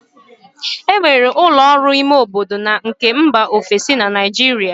E nwere ụlọ ọrụ ime obodo na nke mba ofesi na Naịjirịa